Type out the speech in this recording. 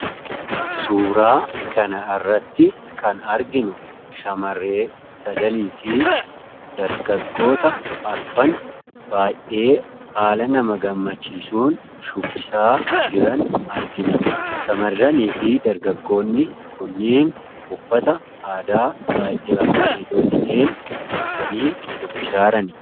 suuraa kan irratti kan arginu shamaree sadanii fi dargaggoota arfan baay'ee aala nama gammachiisuun shubbisaa jiran argina. shamarranii fi dargaggoonni kunniin uffata aadaa baay'ee abareedoo ta'een miidhaganii shubbisaaran.